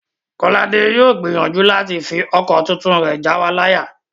Kọ́ládé yóò gbìyànjú láti fi ọkọ̀ tuntun rẹ̀ jáwa láyà